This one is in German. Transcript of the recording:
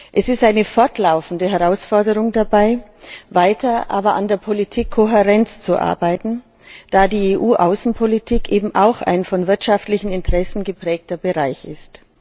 Es ist aber eine fortlaufende Herausforderung, dabei weiter an der Politikkohärenz zu arbeiten, da die EU Außenpolitik eben auch ein von wirtschaftlichen Interessen geprägter Bereich ist.